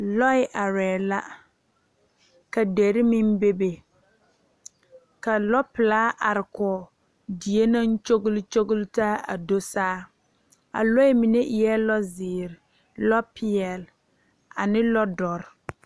Lɔɛ are la ka dire meŋ bebe ka lɔ pelaa are kɔŋ die naŋ kyɔle kyɔle taa a do saa a lɔɛ mine eɛ lɔ ziiri, lɔ peɛle ane lɔ doɔre.